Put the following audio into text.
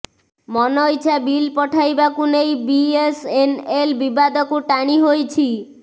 ମନଇଚ୍ଛା ବିଲ୍ ପଠାଇବାକୁ ନେଇ ବିଏସ୍ଏନ୍ଏଲ୍ ବିବାଦକୁ ଟାଣି ହୋଇଛି